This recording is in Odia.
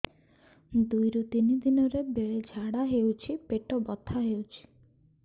ଦୁଇରୁ ତିନି ଦିନରେ ବେଳେ ଝାଡ଼ା ହେଉଛି ପେଟ ବଥା ହେଉଛି